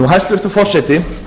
hæstvirtur forseti